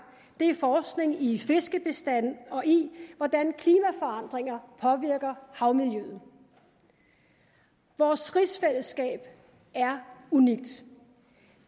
det er forskning i fiskebestande og i hvordan klimaforandringer påvirker havmiljøet vores rigsfællesskab er unikt